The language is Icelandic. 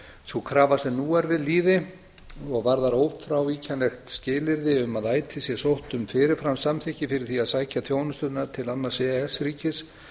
sú krafa sem nú er við lýði og varðar ófrávíkjanlegt skilyrði um að ætíð sé sótt um fyrirframsamþykki fyrir því að sækja þjónustuna til annars e e s ríkis